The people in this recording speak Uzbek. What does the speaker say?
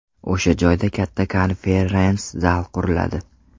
O‘sha joyda katta konferens-zal quriladi.